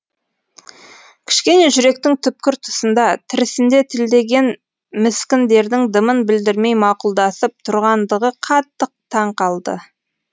кішкене жүректің түпкір тұсында тірісінде тілдеген міскіндердің дымын білдірмей мақұлдасып тұрғандығы қатты таң қылды